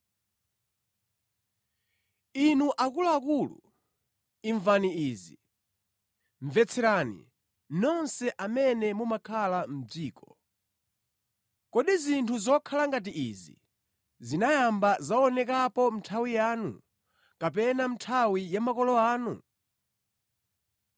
Inu akuluakulu, imvani izi; mvetserani, nonse amene mumakhala mʼdziko. Kodi zinthu zokhala ngati izi zinayamba zaonekapo mʼnthawi yanu, kapena mʼnthawi ya makolo anu?